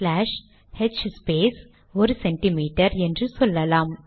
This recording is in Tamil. ஸ்லாஷ் ஹ்ஸ்பேஸ் 1சிஎம் என்று சொல்லலாம்